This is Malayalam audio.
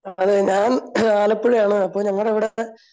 അതെ ഞാൻ ആലപ്പുഴയാണ് അപ്പോ ഞങ്ങടെ ഇവിടെ